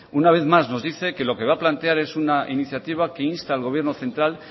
una vez más nos dice que lo que va a plantear en una iniciativa que insta al gobierno central